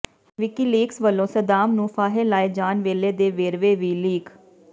WikiLeaks ਵੱਲੋਂ Saddam ਨੂੰ ਫਾਹੇ ਲਾਏ ਜਾਣ ਵੇਲੇ ਦੇ ਵੇਰਵੇ ਵੀ ਲੀਕ